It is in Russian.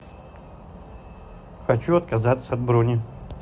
хочу отказаться от брони